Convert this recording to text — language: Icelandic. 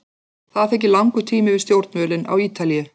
Það þykir langur tími við stjórnvölinn á Ítalíu.